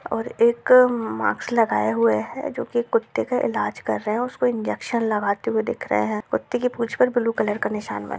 --और एक मास्क लगाए हुए हैं जो कि कुत्ते का इलाज कर रहे हैं उसको इंजेक्शन लगाते हुए दिख रहे हैं कुत्ते की पूँछ पर ब्लू कलर का निशान बना --